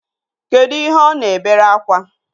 Kedụ ihe ọ na-ebere akwa?